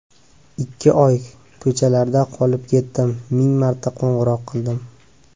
Ikki oy ko‘chalarda qolib ketdim, ming marta qo‘ng‘iroq qildim.